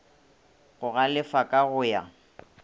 go galefa ka go ya